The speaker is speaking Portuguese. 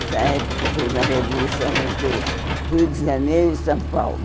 Essa época foi uma revolução entre o Rio de Janeiro e São Paulo.